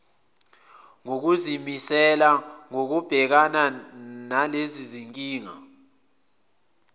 nokuzimisela kokubhekana nalezinkinga